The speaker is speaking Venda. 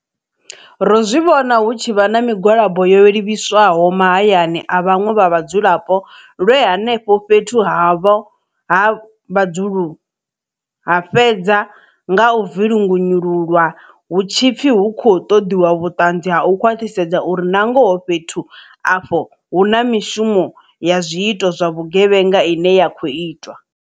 Ro zwi vhona hu tshivha na migwalabo yo livhiswaho mahayani a vhaṅwe vha vhadzulapo lwe henefho fhethu havho ha vhudzulo ha fhedza nga u vinyungululwa hu tshi pfi hu khou ṱoḓiwa vhuṱanzi ha u khwaṱhisedza uri nangoho fhethu afho hu na mishumo ya zwiito zwa vhugevhenga ine ya khou itwa.